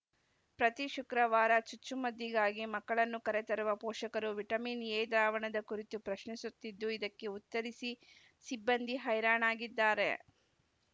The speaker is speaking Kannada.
ಪ್ರತಿ ಶುಕ್ರವಾರ ಚುಚ್ಚುಮದ್ದಿಗಾಗಿ ಮಕ್ಕಳನ್ನು ಕರೆ ತರುವ ಪೋಷಕರು ವಿಟಮಿನ್‌ ಎ ದ್ರಾವಣದ ಕುರಿತು ಪ್ರಶ್ನಿಸುತ್ತಿದ್ದು ಇದಕ್ಕೆ ಉತ್ತರಿಸಿ ಸಿಬ್ಬಂದಿ ಹೈರಣಾಗಿದ್ದಾರೆ